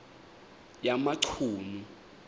yamachunu